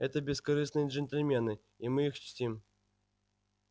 это бескорыстные джентльмены и мы их чтим